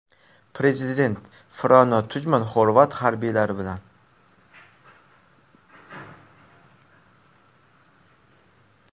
Prezident Frano Tujman xorvat harbiylari bilan.